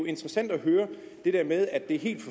interessant at høre det der med at det er helt